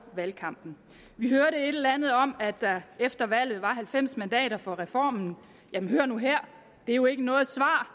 valgkampen vi hørte et eller andet om at der efter valget var halvfems mandater for reformen jamen hør nu her det er jo ikke noget svar